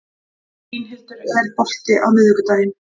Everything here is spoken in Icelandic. Línhildur, er bolti á miðvikudaginn?